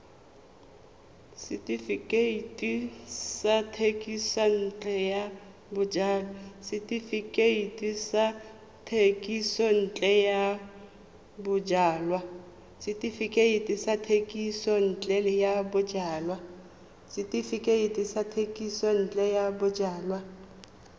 setefikeiti sa thekisontle ya bojalwa